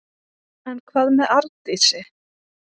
En hvað með Arndísi?